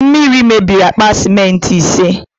Mmiri mebiri akpa sementị ise